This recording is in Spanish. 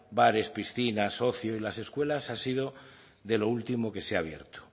bares piscinas ocio y las escuelas ha sido de lo último que se ha abierto